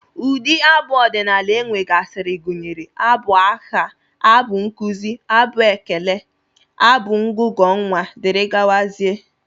Ụdị abụ ọdịnala e nwegasịrị gụnyere abụ agha, abụ nkụzi, abụ ekere, abụ ngụgụ nnwa, dgz